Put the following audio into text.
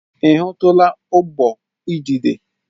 Ị hụtụla ụgbụ udide?